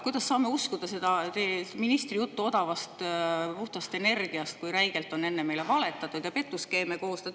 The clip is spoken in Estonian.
Kuidas me saame uskuda ministri juttu odavast ja puhtast energiast, kui enne on meile räigelt valetatud ja petuskeeme koostatud?